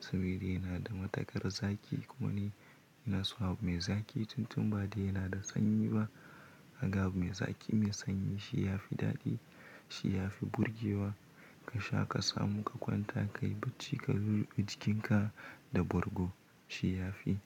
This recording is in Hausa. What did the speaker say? saboda yana da matakar zaki kuma ni ina so abu mai zaki tun tun baɗi yana da sanyi ba. Haka abu mai zaki mai sanyi shi ya fi daɗi, shi ya fi burgewa ka sha ka samu ka kwanta ka yi bacci ka ruɓe jikinka da borgo shi ya fi.